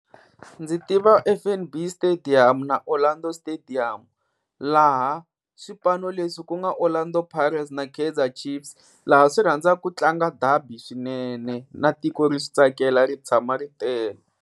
Ndzi tiva F_N_B stadium na Orlando stadium laha swipano leswi ku nga Orlando Pirates na Kaizer Chiefs, laha swi rhandzaka ku tlanga dabi swinene na tiko ri swi tsakela ri tshama ri tele.